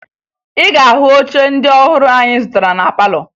Ị ga-ahụ oche ndị ọhụrụ anyị zụtara na palọ